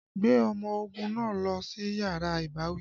Gbé ọmọ ogun náà lọ sí yàrá ìbáwí!